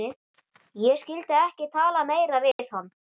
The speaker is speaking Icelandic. Ég skyldi ekki tala meira við hann.